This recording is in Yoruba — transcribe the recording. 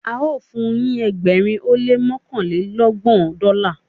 ao fun yin ẹgbẹrin ó lé mọkanlelọgbọn Dọla